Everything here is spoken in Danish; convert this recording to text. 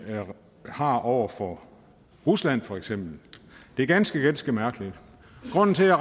har iværksat over for rusland for eksempel det er ganske ganske mærkeligt grunden til at